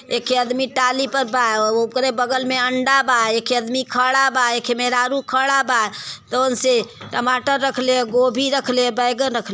एक खे अदमी टाली प बा ओकरे बगल मे अंडा बा। एक खे अदमी खड़ा बा एक खे मेहरारू खड़ा बा तौन से। टमाटर रखले ह गोभी रखले ह बैगन रखल --